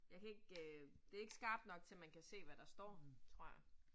Jeg kan ikke. Det ikke skarpt nok til, at man kan se, hvad der står. Tror jeg